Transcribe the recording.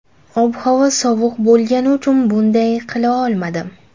Ob-havo sovuq bo‘lgani uchun bunday qila olmadim.